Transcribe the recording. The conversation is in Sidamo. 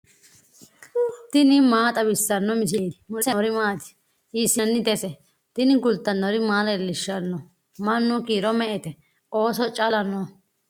tini maa xawissanno misileeti ? mulese noori maati ? hiissinannite ise ? tini kultannori maa leelishshanno? Mannu kiiro me'ette? Ooso caalla noo?